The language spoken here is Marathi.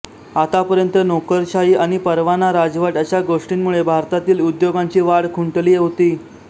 आतापर्यंत नोकरशाही आणि परवाना राजवट अशा गोष्टींमुळे भारतातील उद्योगांची वाढ खुंटली होती